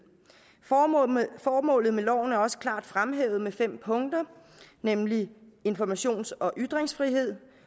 formålet med loven er også klart fremhævet i fem punkter nemlig 1 informations og ytringsfrihed